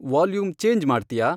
volume change ಮಾಡ್ತ್ಯಾ